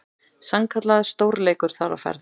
Sannkallaður stórleikur þar á ferð.